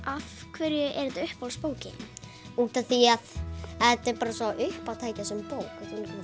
afhverju er þetta uppáhaldsbókin þín útaf því að þetta er bara svo uppátækjasöm bók